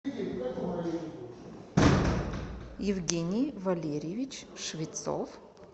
евгений валерьевич швецов